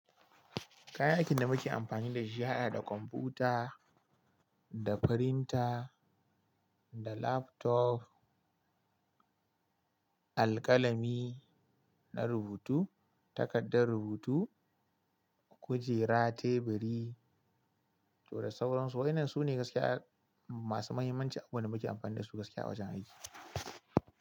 Kayan aikin da muke amfani da shi yahaɗa da kwamfuta, da firinta, da laptop, alƙalami na rubutu, takardar rubutu, kujera, teburi to da sauransu. Waɗannan su ne gaskiya masu muhimmanci, abin da muke amfani da su gaskiya wajen aiki.